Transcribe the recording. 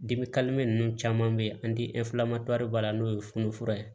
ninnu caman bɛ yen an tɛ b'a la n'o ye funufunu fura ye